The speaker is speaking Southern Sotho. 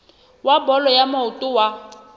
wa bolo ya maoto wa